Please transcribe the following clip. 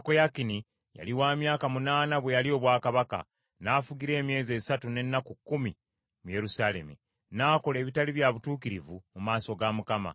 Yekoyakini yali wa myaka munaana bwe yalya obwakabaka, n’afugira emyezi esatu n’ennaku kkumi mu Yerusaalemi. N’akola ebitali bya butuukirivu mu maaso ga Mukama .